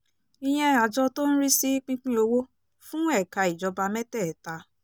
ìyẹn àjọ tó ń rí sí pípín owó fún ẹ̀ka ìjọba mẹ́tẹ̀ẹ̀ta